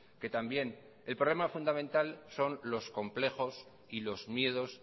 que también el problema fundamental son los complejos y los miedos